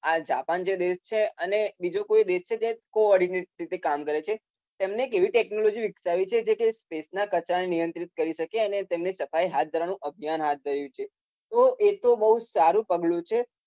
આ જે જાપાન જે દેશ છે અને બીજો કોઈ દેશ છે જે કો-ઓર્ડીનેટ રીતે કામ કરે છે. એમને એવી ટેક્નોલોજી વીકસાવી છે કે જે સ્પેસના કચરાને નિયંત્રીત કરી શકે એનુ સફાઈ અભિયાન હાથ ધર્યુ છે. તો એ તો બઉ સારુ કર્યુ છે.